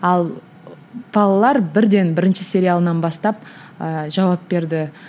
ал балалар бірден бірінші сериалынан бастап ыыы жауап берді